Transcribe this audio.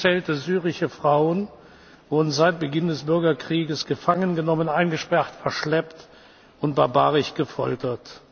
Ungezählte syrische Frauen wurden seit Beginn des Bürgerkrieges gefangen genommen, eingesperrt, verschleppt und barbarisch gefoltert.